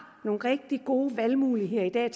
nogle rigtig gode muligheder